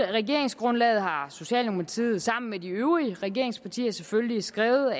regeringsgrundlaget har socialdemokratiet sammen med de øvrige regeringspartier selvfølgelig skrevet og